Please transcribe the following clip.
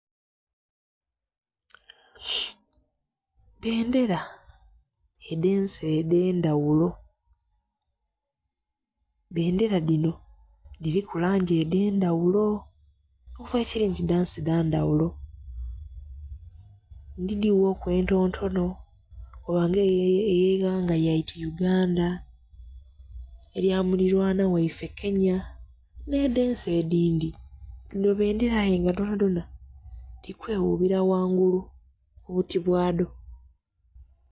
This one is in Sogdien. Bbendhera edhe'nsi edhe ndhaghulo, bbendhera dhino dhiriku langi edhe ndhaghulo okuva bwekiri nti dhansi dha ndhaghulo. Ndhidhi ghoku entontono koba nga eye ighanga lyeitu uganda, erya mu lirwana ghaife kenya nhe edhensi edindhi. Dhino bbendhera aye nga dhona dhona dhiri kweghubira ghangulu ku buti bwadho.